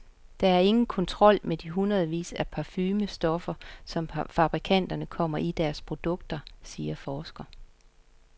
Der er ingen kontrol med de hundredvis af parfumestoffer, som fabrikanterne kommer i deres produkter, siger forsker.